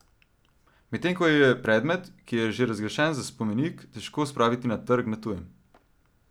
Medtem ko je predmet, ki je že razglašen za spomenik, težko spraviti na trg na tujem.